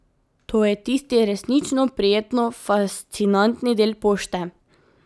To je tisti resnično prijetno fascinantni del pošte.